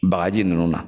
Bagaji ninnu na